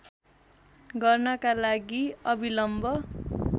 गर्नका लागि अबिलम्ब